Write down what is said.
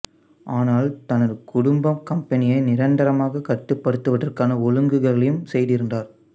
ஆனால் தனது குடும்பம் கம்பனியை நிரந்தரமாகக் கட்டுப்படுத்துவதற்கான ஒழுங்குகளையும் செய்திருந்தார்